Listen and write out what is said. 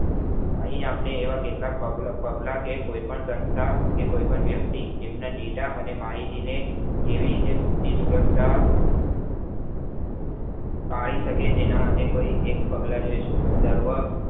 અહી આપને એવા કેટલાક પગલા કે કોઈ પણ સંસ્થા પણ કે કોઈ પણ વ્યક્તિ તેમના data અને માહિતી નેકેવી રીતે પૂછી વ્યવસ્થા પાળી શક તેનામાંતે કોઈ એક પ્પગલા જોઈશું